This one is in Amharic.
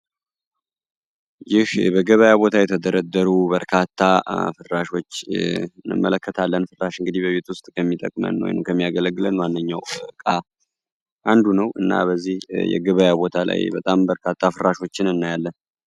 ይህ በገበያ የተደረደሩ በርካታ ፍራሾችን እንመለከታለን ፍራሽ በቤት ውስጥ ከሚጠቅመን ወይም ከሚያገለግለን ማንኛውም እቃ አንዱ ነው። እና በዚህ የገበያ ቦታ ላይ በርካታ ፍራሾችን እናያለን።